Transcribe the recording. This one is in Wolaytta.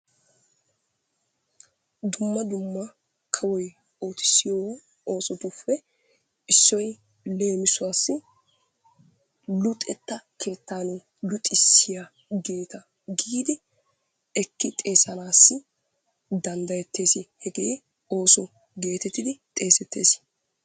Dumma dumma kawoy oottissiyo oosotuppe issoy leemissuwaassi luxetta keettaan luxisiyageeta giidi ekki xeessanaasi danddayettees, hegee ooso gettettidi xeessettees.